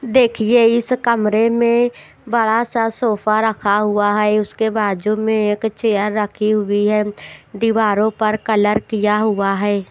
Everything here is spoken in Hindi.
देखिए इस कमरे में बड़ा सा सोफा रखा हुआ है उसके बाजू में एक चेयर रखी हुई है दीवारों पर कलर किया हुआ है।